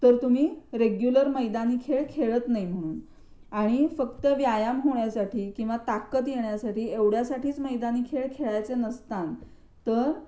तर तुम्ही हे रेग्युलर मैदानी खेळ खेळत नाही म्हणून आणि फक्त व्यायाम होण्यासाठी किंवा ताकद येण्यासाठी एवढ्यासाठीच मैदानी खेळ खेळायचे नसतात तर